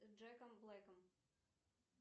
с джеком блэком